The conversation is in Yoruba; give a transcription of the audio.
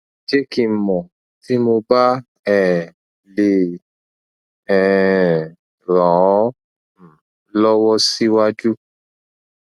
jẹ ki n mọ ti mo ba um le um ran ọ um lọwọ siwaju